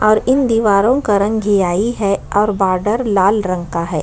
और दीवारों का रंग गिहाहि है और बॉर्डर लाल रंग का है।